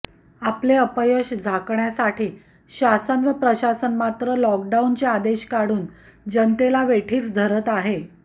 आपले अपयश झाकण्यासाठी शासन व प्रशासन मात्र लॉकडाऊनचे आदेश काढून जनतेला वेठीस धरत आहे